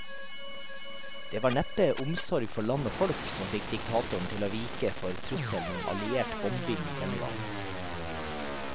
Det var neppe omsorg for land og folk som fikk diktatoren til å vike for trusselen om alliert bombing denne gang.